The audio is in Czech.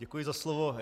Děkuji za slovo.